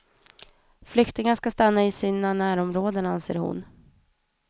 Flyktingar ska stanna i sina närområden, anser hon.